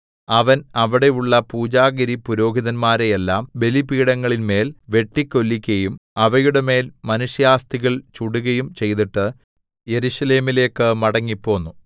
അവൻ അവിടെയുള്ള പൂജാഗിരിപുരോഹിതന്മാരെയെല്ലാം ബലിപീഠങ്ങളിന്മേൽ വെട്ടിക്കൊല്ലിക്കയും അവയുടെമേൽ മനുഷ്യാസ്ഥികൾ ചുടുകയും ചെയ്തിട്ട് യെരൂശലേമിലേക്ക് മടങ്ങിപ്പോന്നു